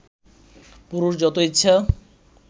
পুরুষ যত ইচ্ছা